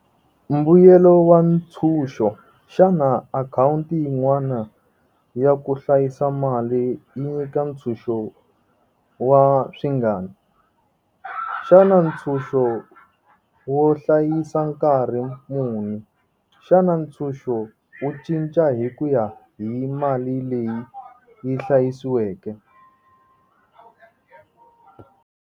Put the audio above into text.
Mbuyelo wa ntshuxo xana akhawunti yin'wana ya ku hlayisa mali yi nyika ntshuxo wa swi ngani. Xana ntshuxo wo hlayisa nkarhi muni, xana ntshuxo wu cinca hi ku ya hi mali leyi yi hlayisiweke.